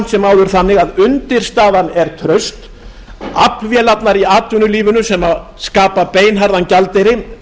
sem áður þannig að undirstaðan er traust aflvélarnar í atvinnulífinu sem skapa beinharðan gjaldeyri